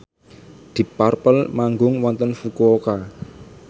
deep purple manggung wonten Fukuoka